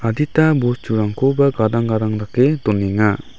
adita bosturangkoba gadang gadang dake donenga.